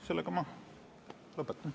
Sellega ma lõpetan.